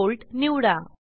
5V निवडा